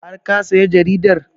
Har ka saya jaridar?